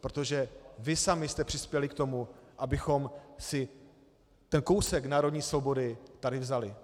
protože vy sami jste přispěli k tomu, abychom si ten kousek národní svobody tady vzali.